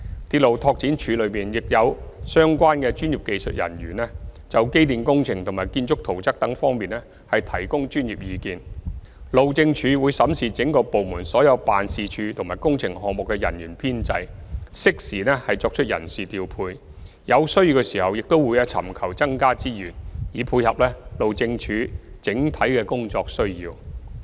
鐵路拓展處內亦有相關專業技術人員，就機電工程和建築圖則等方面提供專業意見，路政署會審視整個部門所有辦事處及工程項目的人員的編制，適時作出人事調配，有需要時亦會尋求增加資源，以配合路政署整體的工作需要。